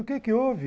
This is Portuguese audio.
O que que houve?